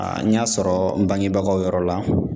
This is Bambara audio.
Aa n y'a sɔrɔ n bangebagaw yɔrɔ la.